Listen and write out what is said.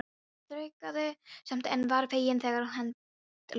Hún þraukaði samt en var fegin þegar henni lauk.